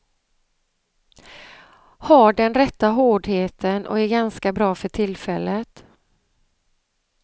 Har den rätta hårdheten och är ganska bra för tillfället.